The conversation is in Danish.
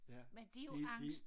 Ja de de